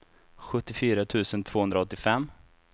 sjuttiofyra tusen tvåhundraåttiofem